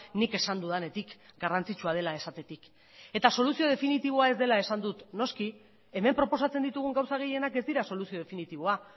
nik esan dudanetik garrantzitsua dela esatetik soluzio definitiboa ez dela esan dut noski hemen proposatzen ditugun gauza gehienak ez dira soluzio definitiboa